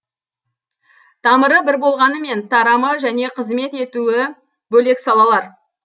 тамыры бір болғанымен тарамы және қызмет етуі бөлек салалар